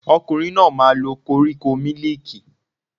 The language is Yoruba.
Ọkùnrin náà máa lo koríko mílìkì